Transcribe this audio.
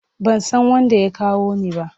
Ban san wanda ya kawo ni ba.